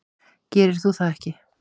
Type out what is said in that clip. Gerir þú það ekki?